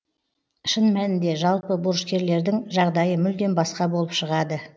шын мәнінде жалпы борышкерлердің жағдайы мүлдем басқа болып шығады